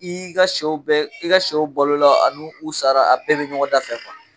I y'i ka sɛw bɛɛ i ka sɛw balola an'u u sara a bɛɛ bɛ ɲɔgɔn dafɛ .